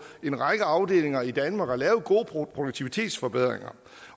en række afdelinger i danmark at lave gode produktivitetsforbedringer